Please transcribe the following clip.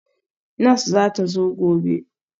Nurse zata zo gobe